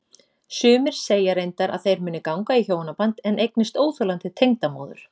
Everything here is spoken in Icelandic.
Sumir segja reyndar að þeir muni ganga í hjónaband en eignist óþolandi tengdamóður.